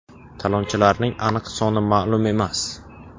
Talonchilarning aniq soni ma’lum emas.